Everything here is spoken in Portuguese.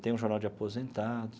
Tem um jornal de aposentados.